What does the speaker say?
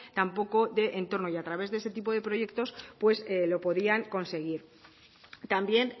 tampoco de entorno y a través de este tipo de proyectos pues lo podían conseguir también